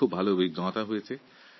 এটা একটা বেশ ভালো অভিজ্ঞতা